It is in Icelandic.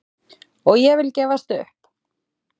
Og ég vil gefst upp!